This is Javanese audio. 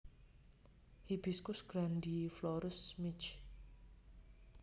Hibiscus grandiflorus Michx